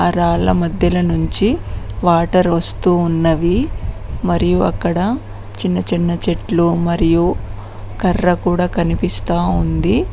ఆ రాళ్ల మధ్యల నుంచి వాటర్ వస్తూ ఉన్నవి మరియు అక్కడ చిన్న చిన్న చెట్లు మరియు కర్ర కూడా కనిపిస్తా ఉంది.